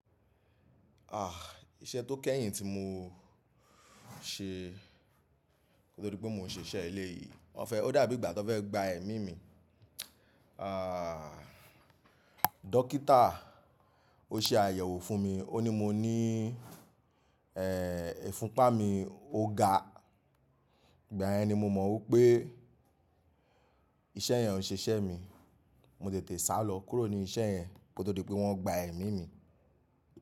Ah! Iṣẹ́ tó kẹ́yìn tí mo ṣe nítorí pé mò ń ṣe iṣẹ́ eléyìí. WỌ̀nfẹ́ ó dàbí ìgbà tó fẹ́ gba ẹ̀mí mi. Ah! Dókítà ó ṣe àyẹ̀wò fún mi. Ó ní mo ní eh! Ifúnpa mi o ga. Ìgbà yẹn ni mo mọ̀ wipé iṣẹ́ yẹn ó ń ṣiṣẹ́ mi. Mo tètè sálọ kúrò ní iṣẹ́ yẹn nítorí pé wọ́n gba ẹ̀mí mi.